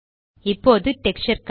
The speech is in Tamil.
இப்போது டெக்ஸ்சர் கலர்